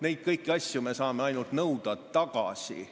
Neid kõiki asju me saame ainult tagasi nõuda.